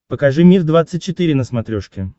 покажи мир двадцать четыре на смотрешке